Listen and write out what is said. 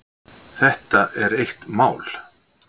Þetta er eitt mál.